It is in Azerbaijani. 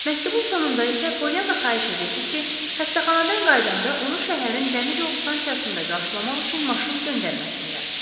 Məktubun sonunda isə Poliana xahiş edirdi ki, xəstəxanadan qayıdanda onu şəhərin dəmir yol stansiyasında qarşılamaq üçün maşın göndərməsinlər.